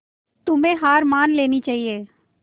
तुम्हें हार मान लेनी चाहियें